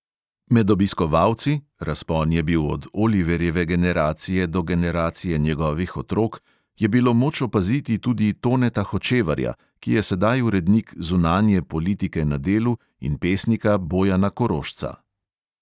Med obiskovalci (razpon je bil od oliverjeve generacije do generacije njegovih otrok) je bilo moč opaziti tudi toneta hočevarja, ki je sedaj urednik zunanje politike na delu, in pesnika bojana korošca.